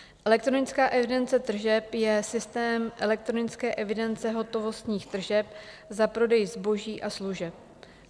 Elektronická evidence tržeb je systém elektronické evidence hotovostních tržeb za prodej zboží a služeb.